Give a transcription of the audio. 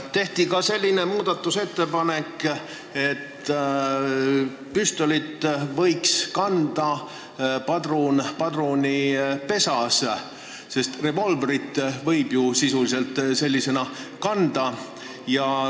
Tehti ka selline muudatusettepanek, et püstolil võiks kanda padrunit padrunipesas, sest revolvrit võib ju sisuliselt nii kanda.